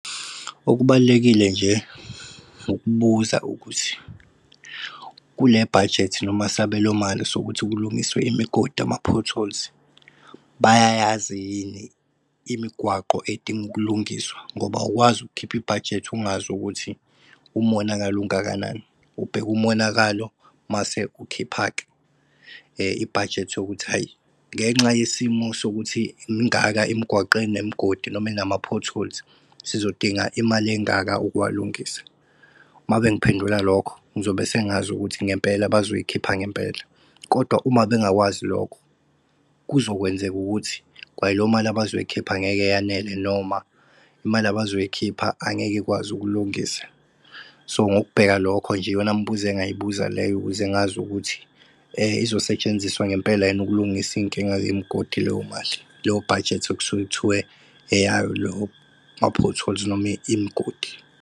Okubalulekile nje, ukubuza ukuthi kule bhajethi noma sabelomali sokuthi kulungiswe imigodi, ama-potholes bayayazi yini imigwaqo edinga ukulungiswa ngoba awukwazi ukukhipha ibhajethi ungazi ukuthi umonakalo ungakanani. Ubheka umonakalo mase ukhipha-ke ibhajethi yokuthi hayi ngenxa yesimo sokuthi mingaka imgwaqo enemigodi noma enama-potholes, sizodinga imali engaka ukuwalungisa. Uma bengiphendula lokho ngizobe sengazi ukuthi ngempela bazoyikhipha ngempela. Kodwa uma bengakwazi lokho, kuzokwenzeka ukuthi kwaleyo mali abazoyikhipha angeke yanele noma imali abazoyikhipha angeke ikwazi ukulungisa. So ngokubheka lokho nje iyona mbuzo engayibuzayo leyo ukuze ngazi ukuthi izosetshenziswa ngempela yini ukulungisa iy'nkinga yemgodi leyo mali leyo bhajethi okusuke kuthiwe eyayo loma-potholes noma imigodi.